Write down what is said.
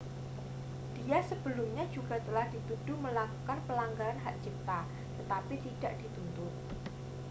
dia sebelumnya juga telah dituduh melakukan pelanggaran hak cipta tetapi tidak dituntut